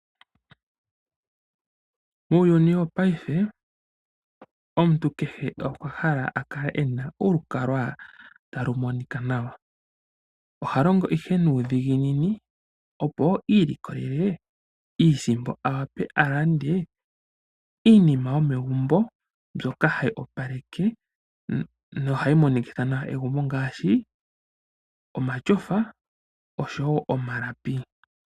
Muuyuni wopaife omuntu kehe okwa hala akale ena olukalwa taku monika nawa. Oha longo ihe nuudhiginini opo iilikolele iisimpo awape alande iinima yomegumbo mbyoka hayi opaleke nohayi monikitha nawa egumbo ngaashi omatyofa.